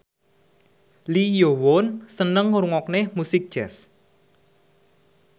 Lee Yo Won seneng ngrungokne musik jazz